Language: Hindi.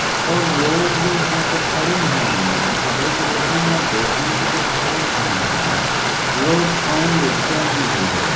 और लोग जो वहाँ पे खड़े है वो कपड़े खरीदने या बेचने के लिए खड़े है। लोग आयेंगे जायंगे --